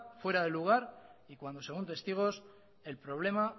fuera de lugar y cuando según testigos el problema